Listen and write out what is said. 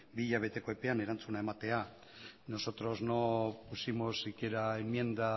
bi hilabeteko epean erantzuna ematea nosotros no pusimos siquiera enmienda